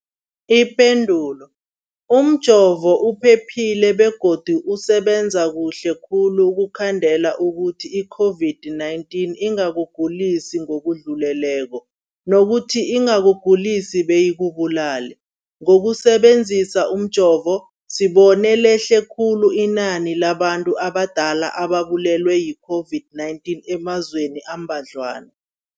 Ipendulo, umjovo uphephile begodu usebenza kuhle khulu ukukhandela ukuthi i-COVID-19 ingakugulisi ngokudluleleko, nokuthi ingakugulisi beyikubulale. Ngokusebe nzisa umjovo, sibone lehle khulu inani labantu abadala ababulewe yi-COVID-19 emazweni ambadlwana.